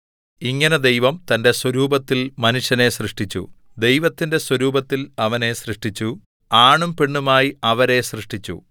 ഇങ്ങനെ ദൈവം തന്റെ സ്വരൂപത്തിൽ മനുഷ്യനെ സൃഷ്ടിച്ചു ദൈവത്തിന്റെ സ്വരൂപത്തിൽ അവനെ സൃഷ്ടിച്ചു ആണും പെണ്ണുമായി അവരെ സൃഷ്ടിച്ചു